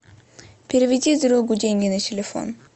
переведи другу деньги на телефон